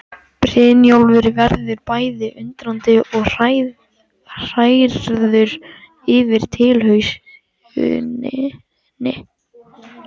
Brynjólfur verður bæði undrandi og hrærður yfir tilhugsuninni.